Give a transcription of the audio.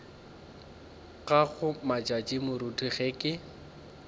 gago matšatši moruti ge ke